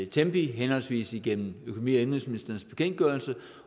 tempi henholdsvis igennem økonomi og indenrigsministerens bekendtgørelse